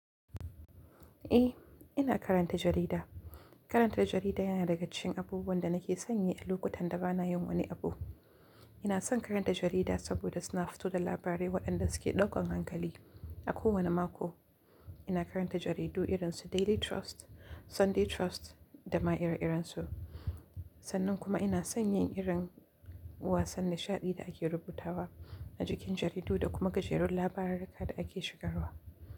Eh, ina karanta jarida. Karanta jarida yana daga cikin abubuwan da nake sanye a lokutan da ba na yin wani abu. Ina son karanta jarida saboda suna fito da labarai waɗanda suke ɗaukan hankali a kowane mako. Ina karanta jaridu irin su Daily Trust, Sunday Trust da ma iri irinsu. Sannan kuma ina sanyin irin wasan nishaɗi da ake rubuta wa a jikin jaridu da kuma gajerun labararaka da ake shigarwa.